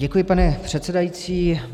Děkuji, pane předsedající.